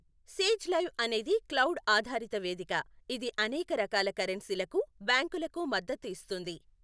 Sage Live అనేది cloud ఆధారిత వేదిక, ఇది అనేక రకాల కరెన్సీలకు, బ్యాంకులకు మద్దతు ఇస్తుంది.